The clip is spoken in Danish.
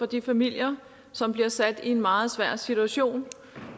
de familier som bliver sat i en meget svær situation